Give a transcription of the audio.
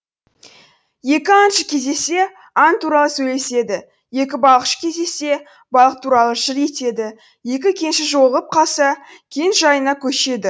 екі аңшы кездессе аң туралы сөйлеседі екі балықшы кездессе балық туралы жыр етеді екі кенші жолығып қалса кен жайына көшеді